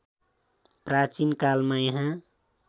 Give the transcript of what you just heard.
प्राचीन कालमा यहाँ